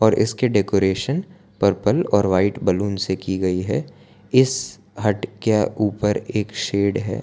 और इसके decoration purple और व्हाइट बैलून से की गई है इस हट के ऊपर एक शेड है।